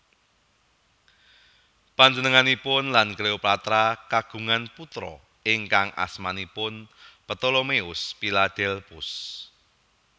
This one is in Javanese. Panjenenganipun lan Cleopatra kagungan putra ingkang asmanipun Ptolemeus Philadelphus